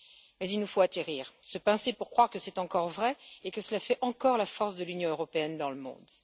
Mais il nous faut atterrir et se pincer pour croire que c'est encore vrai et que cela fait encore la force de l'Union européenne dans le monde.